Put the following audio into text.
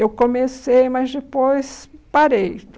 Eu comecei, mas depois parei.